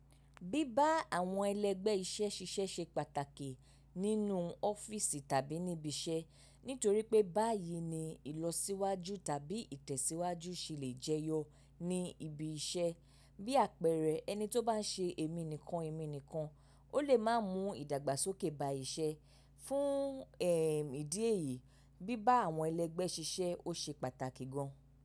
Bíba àwọn ẹlẹgbẹ́ iṣẹ́ ṣiṣẹ́ ṣe pàtàkì nínú ọ́fíìsì tàbí níbi iṣẹ́, nítorí pé báyìí ni ìlọsíwájú tàbí ìtẹ̀síwájú ṣe lè jẹyọ ní ibi iṣẹ́. Bí àpẹẹrẹ, ẹni tó bá n ṣe èmi nìkan èmi nìkan, ó lè má mú ìdàgbàsókè ba iṣẹ́. Fún ẹ́ ìdí èyí, bíbá àwọn ẹlẹgbẹ́ ṣiṣẹ́ ọ ṣe pàtàkì gan.